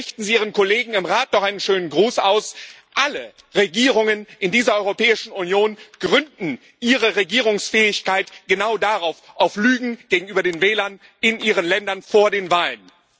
Nun, richten Sie Ihren Kollegen im Rat doch einen schönen Gruß aus Alle Regierungen in dieser Europäischen Union gründen ihre Regierungsfähigkeit genau darauf auf Lügen gegenüber den Wählern in ihren Ländern vor den Wahlen.